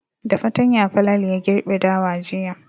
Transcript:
Da fatanya Falalu ya girbe dawa jiya.